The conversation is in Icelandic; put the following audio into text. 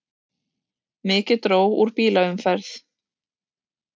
Mikið dró úr bílaumferð